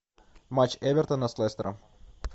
матч эвертона с лестером